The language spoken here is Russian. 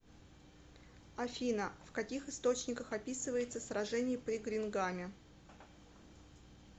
афина в каких источниках описывается сражение при гренгаме